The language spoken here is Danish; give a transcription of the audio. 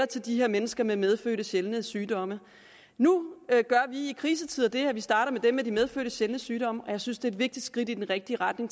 til de her mennesker med medfødte sjældne sygdomme nu gør vi i krisetider det at vi starter med dem med de medfødte sjældne sygdomme og jeg synes det er et vigtigt skridt i den rigtige retning